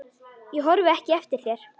Ég horfi ekki eftir þér.